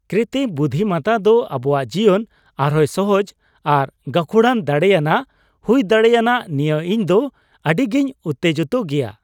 ᱠᱨᱤᱛᱛᱤᱢ ᱵᱩᱫᱫᱷᱤᱢᱚᱛᱛᱟ ᱫᱚ ᱟᱵᱚᱣᱟᱜ ᱡᱤᱭᱚᱱ ᱟᱨᱦᱚᱸᱭ ᱥᱚᱦᱚᱡ ᱟᱨ ᱜᱟᱹᱠᱷᱩᱲᱟᱱ ᱫᱟᱲᱮᱭᱟᱱᱟᱜ ᱦᱩᱭ ᱫᱟᱲᱮᱭᱟᱱᱟᱜ ᱱᱤᱭᱟᱹ ᱤᱧ ᱫᱚ ᱟᱹᱰᱤᱜᱮᱧ ᱩᱛᱛᱮᱡᱤᱛᱚᱜᱮᱭᱟ ᱾